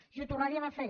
i ho tornaríem a fer